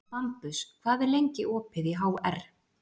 Bambus, hvað er lengi opið í HR?